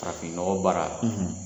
Farafinɔgɔ baara